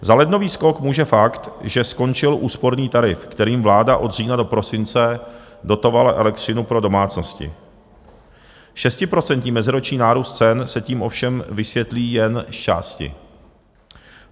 Za lednový skok může fakt, že skončil úsporný tarif, kterým vláda od října do prosince dotovala elektřinu pro domácnosti, 6% meziroční nárůst cen se tím ovšem vysvětlí jen zčásti.